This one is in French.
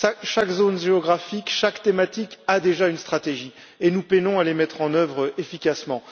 Chaque zone géographique, chaque thématique a déjà une stratégie, et nous peinons à les mettre en œuvre efficacement.